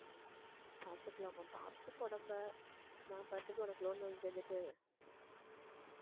பார்த்துக்கலாமா, பார்த்துக்க உடம்பை, நான் பாட்டுக்கு உனக்கு loan வாங்கி தந்துட்டு